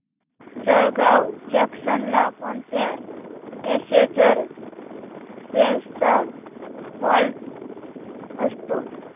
Jalgaon junction ला कोणत्या passenger trains चा हॉल्ट असतो